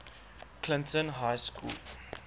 clinton high school